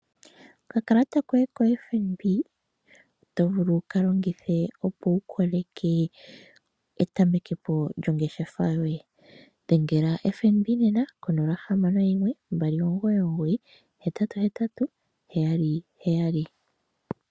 Okakalata koye koFNB oto vulu wu ka longithe, opo wu koleke etameke po lyongeshefa yoye dhengela FNB nena 061 2998877.